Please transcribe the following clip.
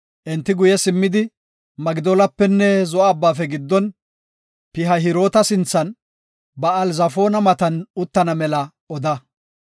“Enti guye simmidi Migdoolapenne Zo7o Abbaafe giddon, Pihahiroota sinthan, Ba7aal-Zafoona matan uttana mela oda.